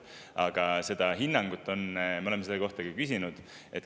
Seda hinnangut me oleme küsinud.